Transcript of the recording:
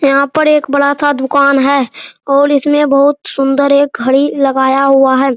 यहाँ पर एक बड़ा-सा दुकान है और इसमें बहुत सुन्दर एक घड़ी लगाया हुआ है।